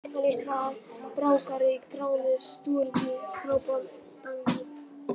Litla-Brákarey, Gránes, Stórudý, Skrápatangi